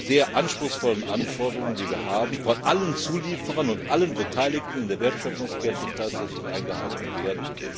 die sehr anspruchsvollen Anforderungen, die wir haben, von allen Zulieferern und allen Beteiligten in der Wertschöpfungskette tatsächlich eingehalten werden.